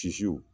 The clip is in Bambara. Sisiw